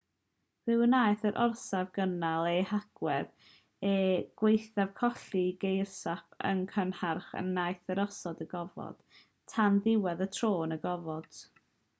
fe wnaeth yr orsaf gynnal ei hagwedd er gwaethaf colli geirosgop yn gynharach yn nhaith yr orsaf i'r gofod tan ddiwedd y tro yn y gofod